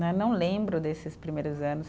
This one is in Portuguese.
Né, não lembro desses primeiros anos.